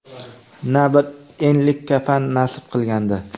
na bir enlik kafan nasib qilgandi.